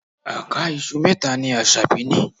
Àká iṣu mẹ́ta ni Asabi ní.